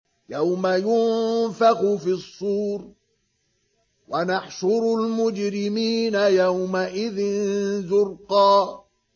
يَوْمَ يُنفَخُ فِي الصُّورِ ۚ وَنَحْشُرُ الْمُجْرِمِينَ يَوْمَئِذٍ زُرْقًا